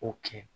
O kɛ